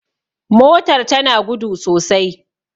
motar tana gudu sosai